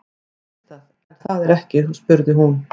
Þú veist það, er það ekki spurði hún.